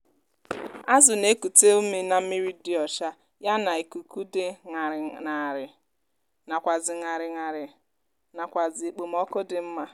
azụ na ekute ume n'ime mmírí dị ọcha yá nà ikuku di ñarì narị nàkwàzì ñarì narị nàkwàzì ekpomoku dị mma